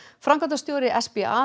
framkvæmdastjóri